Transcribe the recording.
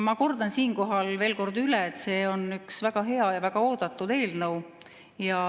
Ma kordan siinkohal veel üle, et see on üks väga hea ja väga oodatud eelnõu.